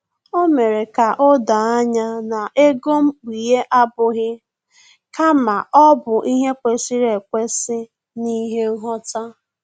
O mere ka o doo anya na ego mkpughe abụghị kama ọ bụ ihe kwesịrị ekwesị na ihe nghọta